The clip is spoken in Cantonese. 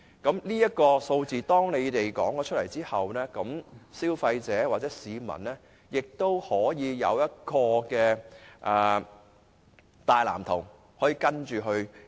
在政府提出有關數字後，消費者或市民便有一個大藍圖可作依循。